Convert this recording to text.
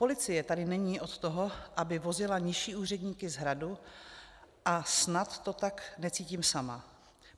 Policie tady není od toho, aby vozila nižší úředníky z Hradu, a snad to tak necítím sama.